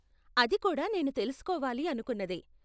అది కూడా నేను తెలుసుకోవాలి అనుకున్నదే.